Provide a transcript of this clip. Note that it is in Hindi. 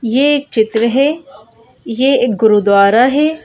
ये एक चित्र है ये एक गुरुद्वारा हैं।